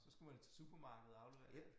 Så skulle man til supermarkedet og aflevere det